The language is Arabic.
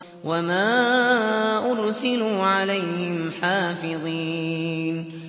وَمَا أُرْسِلُوا عَلَيْهِمْ حَافِظِينَ